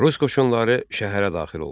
Rus qoşunları şəhərə daxil oldu.